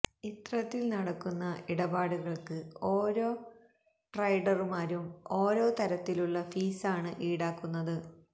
ഇത്രത്തിൽ നടത്തുന്ന ഇടപാടുകൾക്ക് ഓരോ ട്രെഡറുമാരും ഓരോ തരത്തിലുള്ള ഫീസാണ് ഈടാക്കുന്നത്